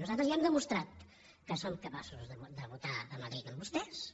nosaltres ja hem demostrat que som capaços de votar a madrid amb vostès